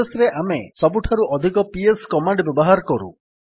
process ରେ ଆମେ ସବୁଠାରୁ ଅଧିକ ପିଏସ୍ କମାଣ୍ଡ୍ ବ୍ୟବହାର କରୁ